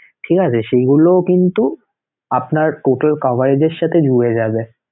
ঠিক আছে সেইগুলোও কিন্তু আপনার total coverage এর সাথে যোগ হয়ে যাবে